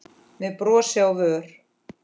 með brosi á vör.